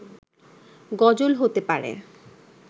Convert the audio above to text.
গজল হতে পারে